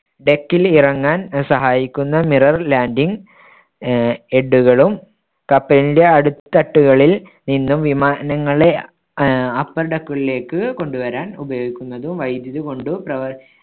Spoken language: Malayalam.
deck ൽ ഇറങ്ങാൻ സഹായിക്കുന്ന mirror landing ആഹ് head കളും കപ്പലിന്‍ടെ അടിത്തട്ടുകളിൽ നിന്നും വിമാനങ്ങളെ ആഹ് upper deck കളിലേക്ക് കൊണ്ടുവരാൻ ഉപയോഗിക്കുന്നതും വൈദ്യുതി കൊണ്ട് പ്രവ~